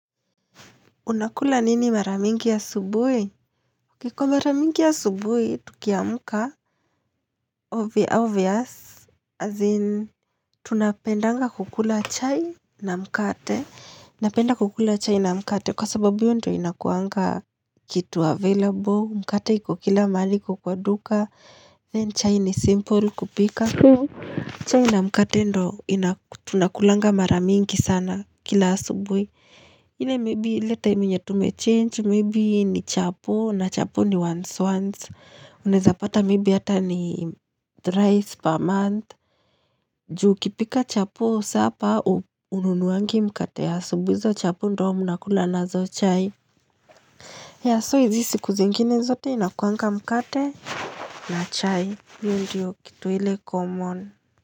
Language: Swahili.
Unakula nini mara mingi asubuhi? Kwa mara mingi asubuhi, tukiamuka obvious, as in, tunapendanga kukula chai na mkate napenda kukula chai na mkate kwa sababu hio ndo inakuanga kitu available, mkate iko kila mahali iko kwa duka Then chai ni simple kupika so chai na mkate ndo tunakulanga mara mingi sana kila subuhi ile maybe ile enye tume change maybe ni chapo na chapo ni once once Unaezapata maybe hata ni thrice per month juu ukipika chapo sapa ununuwangi mkate ya asubuhi hizo chapo ndo mnakula nazo chai yea so izi siku zingine zote inakuangka mkate na chai hio ndiyo kitu ile common.